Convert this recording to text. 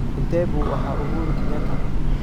intee buu ahaa uhuru kenyatta